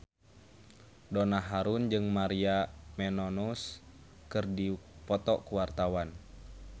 Donna Harun jeung Maria Menounos keur dipoto ku wartawan